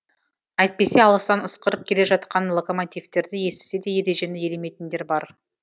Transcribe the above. әйтпесе алыстан ысқырып келе жатқан локомотивтерді естісе де ережені елемейтіндер бар